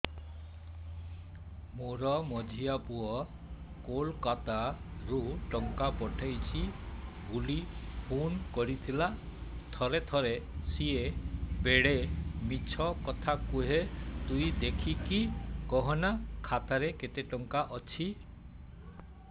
ମୋର ମଝିଆ ପୁଅ କୋଲକତା ରୁ ଟଙ୍କା ପଠେଇଚି ବୁଲି ଫୁନ କରିଥିଲା ଥରେ ଥରେ ସିଏ ବେଡେ ମିଛ କଥା କୁହେ ତୁଇ ଦେଖିକି କହନା ଖାତାରେ କେତ ଟଙ୍କା ଅଛି